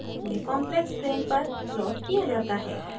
यह complex plane पर plot किया जाता है